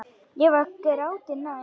Ég var gráti nær.